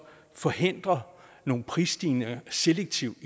forhindrer nogle prisstigninger selektivt